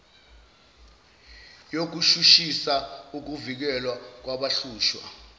yokushushisa ukuvikelwa kwabahlushwa